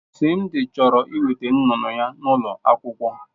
Simdi chọrọ iweta nnụnụ ya n'ụlọ akwụkwọ.